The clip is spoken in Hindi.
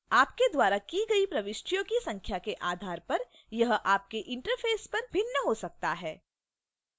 आपके द्वारा की गई प्रविष्टियों की संख्या के आधार पर यह आपके interface पर भिन्न हो सकता है